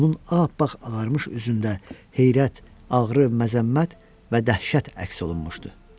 Onun ağappaq ağarmış üzündə heyrət, ağrı, məzəmmət və dəhşət əks olunmuşdu.